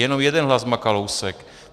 Jenom jeden hlas má Kalousek.